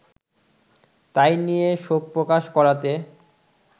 তাই নিয়ে শোকপ্রকাশ করাতে